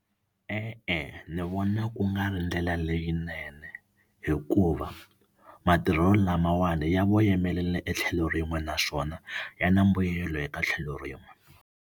E-e ni vona ku nga ri ndlela leyinene hikuva matirhelo lamawani ya voyamela etlhelo rin'we naswona ya na mbuyelo eka tlhelo rin'we.